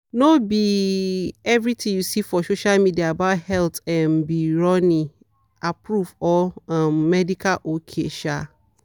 no be everything you see for social media about health um be ronnie-approved or um medical ok. um